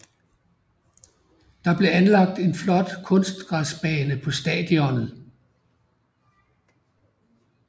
Der er blevet lagt en flot kunstgræsbane på stadionet